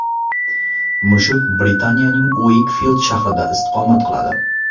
Mushuk Britaniyaning Ueykfild shahrida istiqomat qiladi.